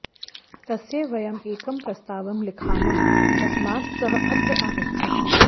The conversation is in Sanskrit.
तस्यै वयम् एकं प्रस्तावं लिखामः तस्मात् सः अत्र आगच्छत्